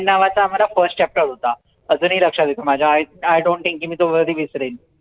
नावाचा आम्हाला firstchapter होता अजूनही लक्षात येतो माझ्या IIdontthink की मी तो कधी विसरीन